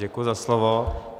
Děkuji za slovo.